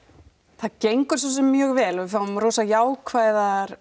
það gengur svosem mjög vel og við fáum rosa jákvæð